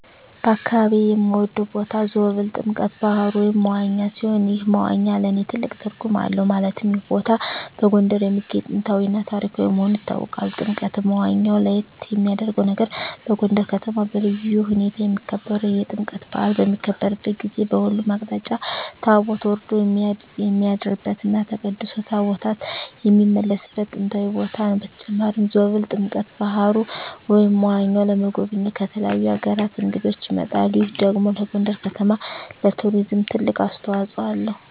በአካባቢየ የምወደው ቦታ ዞብል ጥምቀተ ባህሩ (መዋኛ) ሲሆን ይህ መዋኛ ለእኔ ትልቅ ትርጉም አለው ማለትም ይህ ቦታ በጎንደር የሚገኝ ጥንታዊ እና ታሪካዊ መሆኑ ይታወቃል። ጥምቀተ መዋኛው ለየት የሚያረገው ነገር በጎንደር ከተማ በልዩ ሁኔታ የሚከበረው የጥምቀት በአል በሚከበርበት ጊዜ በሁሉም አቅጣጫ ታቦት ወርዶ የሚያድርበት እና ተቀድሶ ታቦታት የሚመለስበት ጥንታዊ ቦታ ነው። በተጨማሪም ዞብል ጥምቀተ በሀሩ (መዋኛው) ለመጎብኘት ከተለያዩ አገራት እንግዶች ይመጣሉ ይህ ደግሞ ለጎንደር ከተማ ለቱሪዝም ትልቅ አስተዋጽኦ አለው።